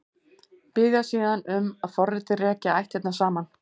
Biðja síðan um að forritið reki ættirnar saman.